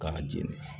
K'a jeni